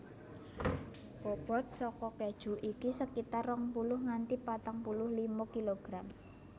Bobot saka keju iki sekitar rong puluh nganti patang puluh lima kilogram